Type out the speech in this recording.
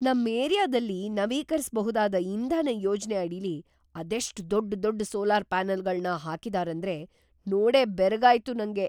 ನಮ್ ಏರಿಯಾದಲ್ಲಿ ನವೀಕರಿಸಬಹುದಾದ್ ಇಂಧನ ಯೋಜ್ನೆ‌ ಅಡಿಲಿ ಅದೆಷ್ಟ್ ದೊಡ್ಡ್ ದೊಡ್ಡ್ ಸೋಲಾರ್‌ ಪ್ಯಾನಲ್‌ಗಳ್ನ ಹಾಕಿದಾರೇಂದ್ರೆ, ನೋಡೇ ಬೆರಗಾಯ್ತು ನಂಗೆ.